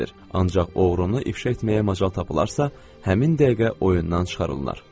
Ancaq oğrunu ifşa etməyə macal tapılarsa, həmin dəqiqə oyundan çıxarılır.